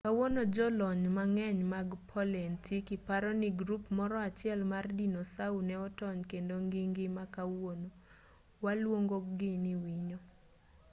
kawuono jolony mang'eny mag paleontiki paro ni grup moro achiel mar dinosau ne otony kendo gingima kawuono waluongo gi ni winy